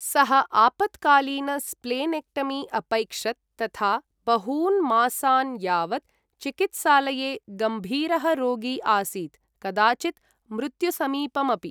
सः आपत्कालीन स्प्लेनेक्टमी अपैक्षत तथा बहून् मासान् यावत् चिकित्सालये गम्भीरः रोगी आसीत्, कदाचित् मृत्युसमीपम् अपि।